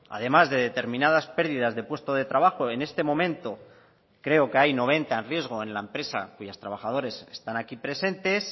además de determinadas pérdidas de puesto de trabajo en este momento creo que hay noventa en riesgo en la empresa cuyos trabajadores están aquí presentes